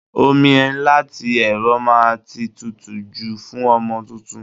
Omi láti ẹ̀rọ máa ti tutù jù fún ọmọ tuntun.